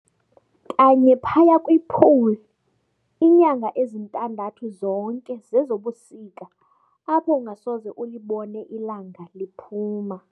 Kanye phaya kwi"pole", inyanga ezintandathu zonke zezobusika apho ungasoze ulibone ilanga liphuma.